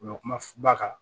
U bɛ kuma ba kan